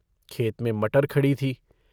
खेत में मटर खड़ी थी।